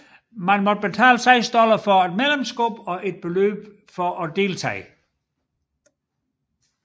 Man måtte betale seks dollar for et medlemskab og et beløb for deltagelse